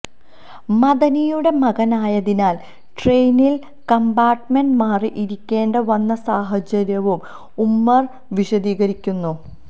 മദനിയുടെ മകനായതിനാല് ട്രെയിനില് കമ്പാര്ട്ട്മെന്റ് മാറി ഇരിക്കേണ്ടി വന്ന സാഹചര്യവും ഉമര് വിശദീകരിക്കുന്നു